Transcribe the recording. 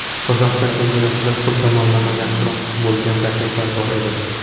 Qozog‘iston chempionatidan pul tomonlama yaxshiroq bo‘lgan takliflar bor edi.